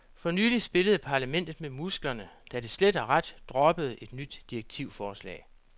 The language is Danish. For nylig spillede parlamentet med musklerne, da det slet og ret droppede et nyt direktivforslag.